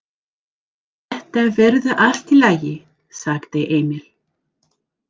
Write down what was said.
Þetta verður allt í lagi, sagði Emil.